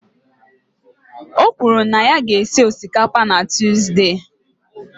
O kwuru na ya ga-esi osikapa na Tuzdee.